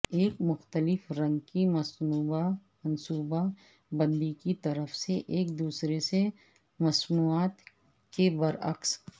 ایک مختلف رنگ کی منصوبہ بندی کی طرف سے ایک دوسرے سے مصنوعات کے برعکس